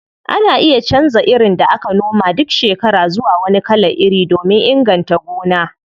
Ana iya canza irin da aka noma duk shekara zuwa wani kalan iri domin inganta gona.